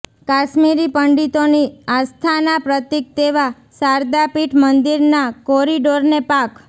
કાશ્મીરી પંડિતોની આસ્થાનાં પ્રતિક તેવા શારદાપીઠ મંદિરના કોરિડોરને પાક